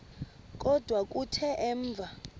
kodwa kuthe emva